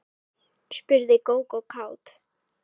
spurði Gógó kát.